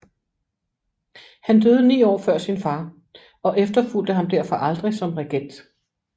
Han døde ni år før sin fader og efterfulgte ham derfor aldrig som regent